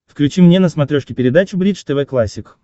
включи мне на смотрешке передачу бридж тв классик